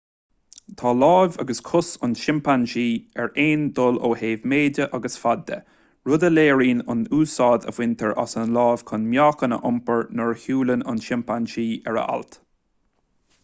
tá lámh agus cos an tsimpeansaí ar aon dul ó thaobh méide agus faid de rud a léiríonn an úsáid a bhaintear as an lámh chun meáchan a iompar nuair a shiúlann an simpeansaí ar a ailt